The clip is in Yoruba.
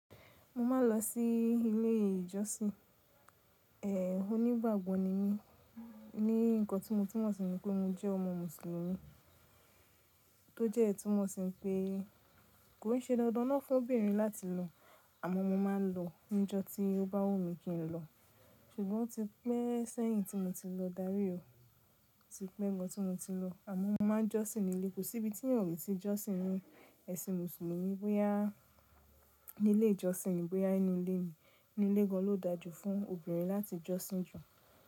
Mo ma n lọ sí ilé ìjọsìn, ẹ, onígbàgbọ́ ni mí ní nǹkan tí mo túmọ̀ sí ni pé mo jẹ́ ọmọ mùsùlùmí tó dẹ́ túmọ̀ sí pé kò n ṣe dandan ná fún obìnrin láti lọ àmọ́ mo ma n lọ níjọ́ tí ó bá wù mí kí n lọ. Ṣùgbọ́n o ti pẹ́ sẹ́yìn tí mo ti lọ dárí o. O ti pẹ́ gan tí mo ti lọ àmọ́ mo ma n jọ́sìn níilé. Kò sí ibi tí ènìyàn kò le ti jọ́sìn ní ẹ̀sìn mùsùlùmí bóyá ní ilé ìjọsìn ní bóyá nínú ilé ni. Inu ilé gan lo dáa jú fún obìnrin láti jọ́sìn jù.